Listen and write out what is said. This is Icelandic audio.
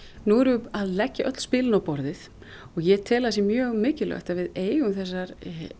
nú erum við að leggja öll spilin á borðið og ég tel að það sé mjög mikilvægt að við eigum þessa